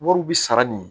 Wariw bi sara nin